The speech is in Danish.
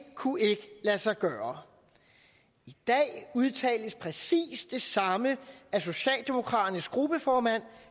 kunne lade sig gøre i dag udtales præcis det samme af socialdemokraternes gruppeformand